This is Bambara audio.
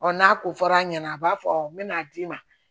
n'a ko fɔr'a ɲɛna a b'a fɔ n bɛ n'a d'i ma